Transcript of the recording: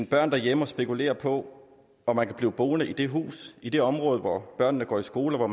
børn derhjemme og spekulerer på om de kan blive boende i det hus i det område hvor børnene går i skole og